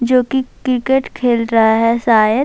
جو کی کرکٹ کھل رہا ہے شاید--